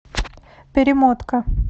перемотка